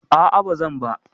A'a ba zan ba.